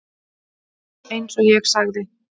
Eins og ég sagði.